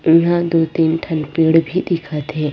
इहा दो तीन ठन पेड़ भी दिखत हे।